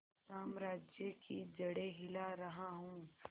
साम्राज्य की जड़ें हिला रहा हूं